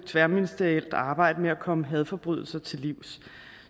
tværministerielt arbejde med at komme hadforbrydelser til livs